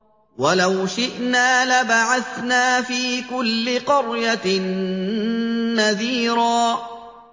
وَلَوْ شِئْنَا لَبَعَثْنَا فِي كُلِّ قَرْيَةٍ نَّذِيرًا